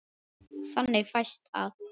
Þannig fæst að